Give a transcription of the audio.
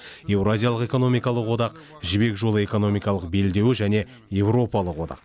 еуразиялық экономикалық одақ жібек жолы экономикалық белдеуі және еуропалық одақ